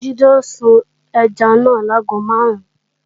Jídé ó sun ẹja náà láago máàrún